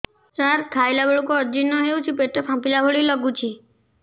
ସାର ଖାଇଲା ବେଳକୁ ଅଜିର୍ଣ ହେଉଛି ପେଟ ଫାମ୍ପିଲା ଭଳି ଲଗୁଛି